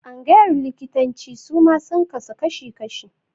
Tsangayar likitanci suma sun kasu kashi-kashi.